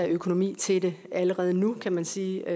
økonomi til det allerede nu kan man sige og